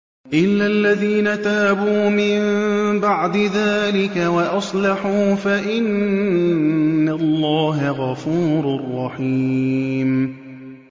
إِلَّا الَّذِينَ تَابُوا مِن بَعْدِ ذَٰلِكَ وَأَصْلَحُوا فَإِنَّ اللَّهَ غَفُورٌ رَّحِيمٌ